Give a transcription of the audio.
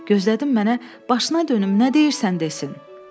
Gözlədim mənə “Başına dönüm, nə deyirsən?” desin.